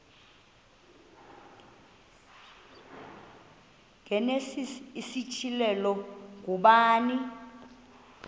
igenesis isityhilelo ngubani